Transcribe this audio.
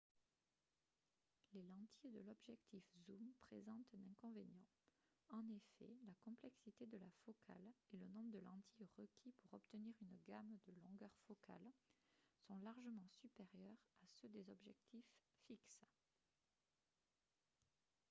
les lentilles de l'objectif zoom présentent un inconvénient en effet la complexité de la focale et le nombre de lentilles requis pour obtenir une gamme de longueurs focales sont largement supérieurs à ceux des objectifs fixes